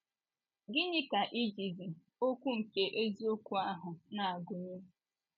Gịnị ka ijizi okwu nke eziokwu ahụ na - agụnye?